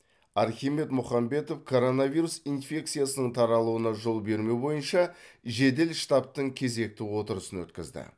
архимед мұхамбетов коронавирус инфекциясының таралуына жол бермеу бойынша жедел штабтың кезекті отырысын өткізді